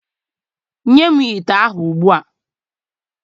Nye m ite ahụ ugbua!